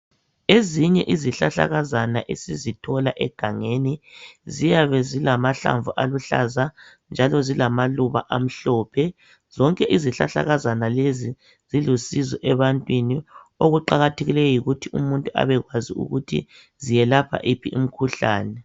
Ezinye izihlahlakazana esizithola egangeni ziyabe zilamahlamvu aluhlaza njalo zilamaluba amhlophe zonke izihlahlakazana lezi zilusizo ebantwini okuqakathekileyo yikuthi umuntu abekwazi ukuthi zelapha yiphi imikhuhlane.